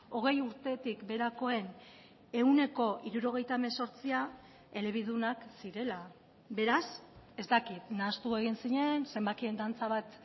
hogei urtetik beherakoen ehuneko hirurogeita hemezortzia elebidunak zirela beraz ez dakit nahastu egin zinen zenbakien dantza bat